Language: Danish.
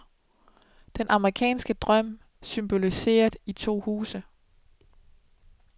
Den amerikanske drøm, symboliseret i to huse.